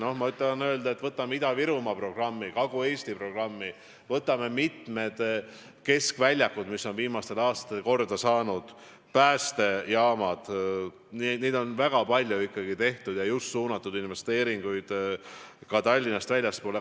Aga ma tahan öelda, et võtame Ida-Virumaa programmi, Kagu-Eesti programmi, võtame mitmed keskväljakud, mis on viimastel aastatel korda saanud, päästejaamad – neid asju on ikkagi väga palju tehtud ja suunatud investeeringuid ka Tallinnast väljapoole.